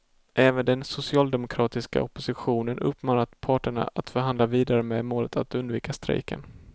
Även den socialdemokratiska oppositionen uppmanar parterna att förhandla vidare med målet att undvika strejken.